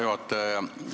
Hea juhataja!